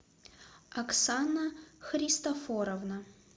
оксана христофоровна